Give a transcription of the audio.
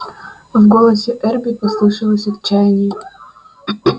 в голосе эрби послышалось отчаяние